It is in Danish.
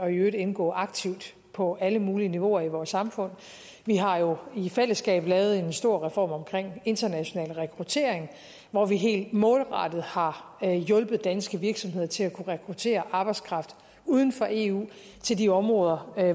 i øvrigt indgå aktivt på alle mulige niveauer i vores samfund vi har jo i fællesskab lavet en stor reform om international rekruttering hvor vi helt målrettet har hjulpet danske virksomheder til at kunne rekruttere arbejdskraft uden for eu til de områder